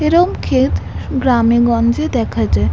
এরম ক্ষেত গ্রামেগঞ্জে দেখা যায়।